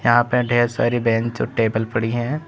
यहां पे ढेर सारी बेंच और टेबल पड़ी है।